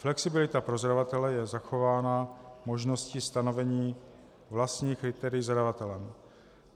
Flexibilita pro zadavatele je zachována možností stanovení vlastních kritérií zadavatelem.